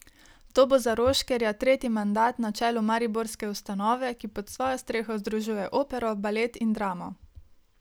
To bo za Roškerja tretji mandat na čelu mariborske ustanove, ki pod svojo streho združuje opero, balet in dramo.